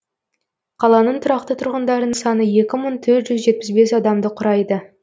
қаланың тұрақты тұрғындарының саны екі мың төрт жүз жетпіс бес адамды құрайды